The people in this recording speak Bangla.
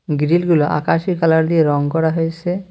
গ্রিল গুলা আকাশী কালার দিয়ে রং করা হয়েসে।